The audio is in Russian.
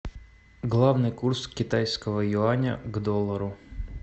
главный курс китайского юаня к доллару